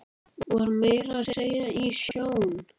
Var meira að segja í sjón